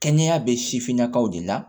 Kɛnɛya bɛ sifinnakaw de la